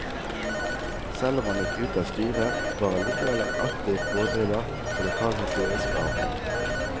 Selv om han gikk ut av styret, var han likevel en aktiv pådriver for lokalhistorisk arbeid.